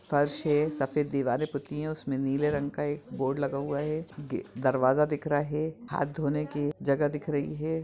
फर्श है सफेद दीवारे पुती है उसमे नीले रंग का एक बोर्ड लगा हुआ है गे-दरवाजा दिख रहा है हाथ-धोने के जगह दिख रही है।